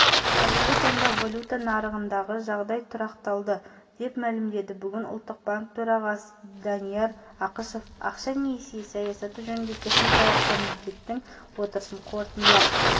қазіргі таңда валюта нарығындағы жағдай тұрақталды деп мәлімдеді бүгін ұлттық банк төрағасы данияр ақышев ақша-несие саясаты жөніндегі техникалық комитеттің отырысын қорытындылап